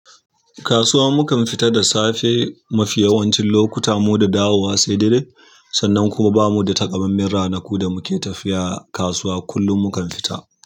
Kasuwa mukam fita da safe mafi yawancin lokuta, mu da dawowa sai dare. Sannan kuma bamu da takammamen ranaku da muke tafiya kasuwa, kullum mukan fita.